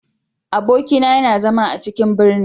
Abokina yana zama a cikin ɓirni.